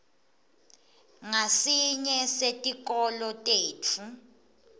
ngasinye setikolo tetfu